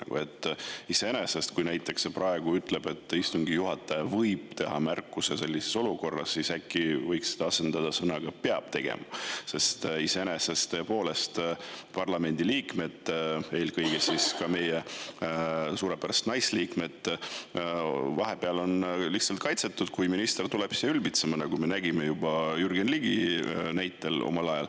Kui see näiteks praegu ütleb, et istungi juhataja "võib teha" sellises olukorras märkuse, siis äkki võiks selle asendada sõnadega "peab tegema", sest parlamendiliikmed, eelkõige meie suurepärased naisliikmed on tõepoolest vahepeal lihtsalt kaitsetud, kui minister tuleb siia ülbitsema, nagu me oleme näinud Jürgen Ligi näitel.